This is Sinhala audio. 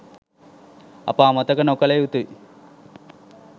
අප අමතක නොකළ යුතුයි